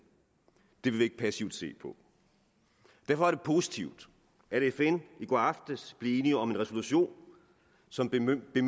det vil vi ikke passivt se på derfor er det positivt at fn i går aftes blev enig om en resolution som bemyndiger